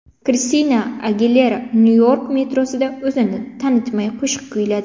Kristina Agilera Nyu-York metrosida o‘zini tanitmay qo‘shiq kuyladi .